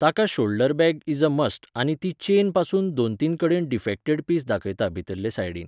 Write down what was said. ताका shoulder bag is a must आनी ती चेनपासून दोन तीन कडेन डिफॅक्टेड पीस दाखयता भितरले सायडीन